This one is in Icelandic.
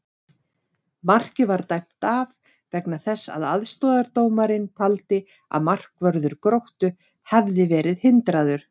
Markið var dæmt af vegna þess að aðstoðardómarinn taldi að markvörður Gróttu hefði verið hindraður!